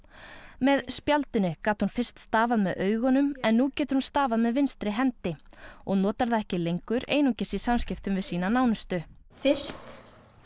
með spjaldinu gat hún fyrst stafað með augunum en nú getur hún stafað með vinstri hendi og notar það ekki lengur einungis í samskiptum við sýna nánustu fyrst